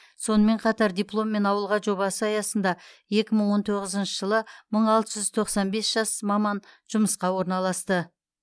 сонымен қатар дипломмен ауылға жобасы аясында екі мың он тоғызыншы жылы мың алты жүз тоқсан бес жас маман жұмысқа орналасты